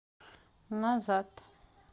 назад